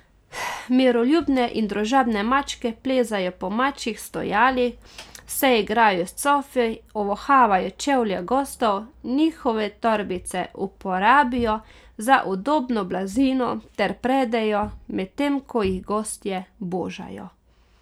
Miroljubne in družabne mačke plezajo po mačjih stojalih, se igrajo s cofi, ovohavajo čevlje gostov, njihove torbice uporabijo za udobno blazino ter predejo, medtem ko jih gostje božajo.